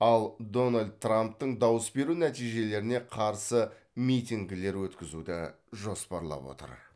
ал дональд трамптың дауыс беру нәтижелеріне қарсы митингілер өткізуді жоспарлап отыр